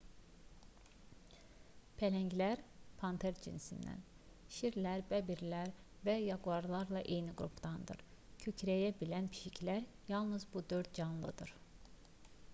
pələnglər panter cinsindən şirlər bəbirlər və yaquarlarla eyni qrupdandır. kükrəyə bilən pişiklər yalnız bu dörd canlıdır